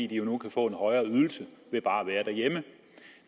de jo nu kan få en højere ydelse ved bare at være derhjemme